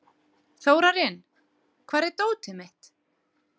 Þórarinn, hvar er dótið mitt?